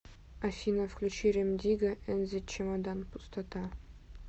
афина включи рем дигга энд зе чемодан пустота